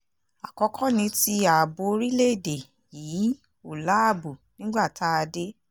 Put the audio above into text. àkọ́kọ́ ni ti ààbò orílẹ̀‐èdè yìí ò láàbò nígbà tá a dé